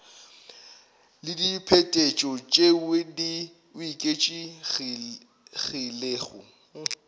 le diphetetšo tšeo di oketšegilego